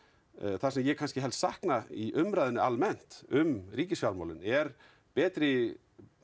það sem ég helst sakna í umræðunni almennt um er betri